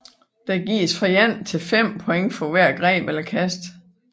Der gives fra et til fem point for hver greb eller kast